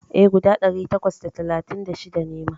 E, guda ɗari takwas da talatin da shida ne ma.